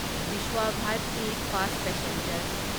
Vishwabharati fast passenger